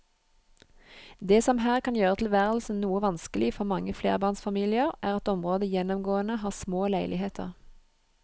Det som her kan gjøre tilværelsen noe vanskelig for mange flerbarnsfamilier er at området gjennomgående har små leiligheter.